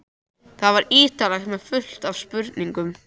Það var ítarlegt með fullt af spurningum.